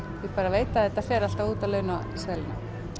ég bara veit að þetta fer alltaf út af launaseðlinum